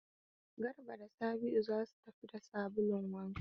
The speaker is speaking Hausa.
Garba da Sabi'u za su tafi da sabulun wanka.